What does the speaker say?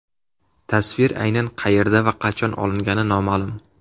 Tasvir aynan qayerda va qachon olingani noma’lum.